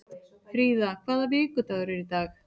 Fríða, hvaða vikudagur er í dag?